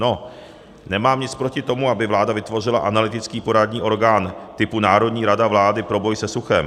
No, nemám nic proti tomu, aby vláda vytvořila analytický poradní orgán typu Národní rada vlády pro boj se suchem.